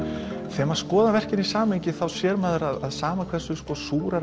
þegar maður skoðar verkin í samhengi sér maður að sama hversu